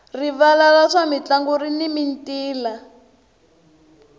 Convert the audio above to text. rivala ra swa mintlangu rini mintila